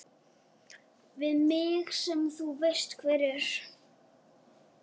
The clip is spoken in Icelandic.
Við mig sem þú veist hver er.